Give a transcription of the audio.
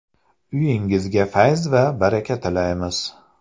Uyingizga fayz va baraka tilaymiz.